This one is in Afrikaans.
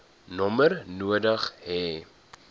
nommer nodig hê